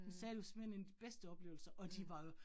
Han sagde, det var simpelthen en af de bedste oplevelser, og de var jo